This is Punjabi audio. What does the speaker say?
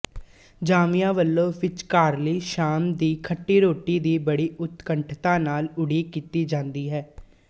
ਜਾਂਞੀਆਂ ਵਲੋਂ ਵਿਚਕਾਰਲੀ ਸ਼ਾਮ ਦੀ ਖੱਟੀ ਰੋਟੀ ਦੀ ਬੜੀ ਉਤਕੰਠਤਾ ਨਾਲ ਉਡੀਕ ਕੀਤੀ ਜਾਂਦੀ ਹੈ